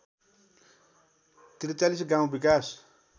४३ गाउँ विकास